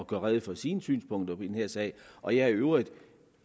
gøre rede for sine synspunkter i den her sag og jeg er i øvrigt